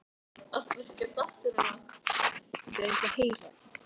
Og svona vill nú gleymast hjá ungu fólki.